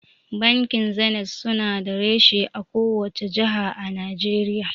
Bankin zenit su na da reshe a kowace jaha a Najeriya